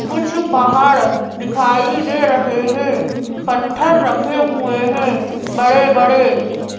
कुछ पहाड़ दिखाई दे रहे हैं पत्थर रखे हुए हैं बड़े-बड़े --